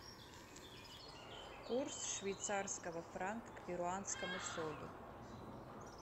курс швейцарского франка к перуанскому солю